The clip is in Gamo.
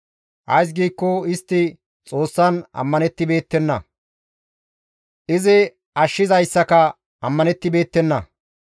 Ays giikko istti Xoossan ammanibeettenna; izi ashshizayssaka ammanettibeettenna.